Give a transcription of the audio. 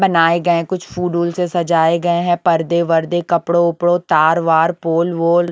बनाए गए हैं कुछ फूड ऊल से सजाए गए हैं पर्दे वर्दे कपड़ों उपड़ों तार वार पोल वोल --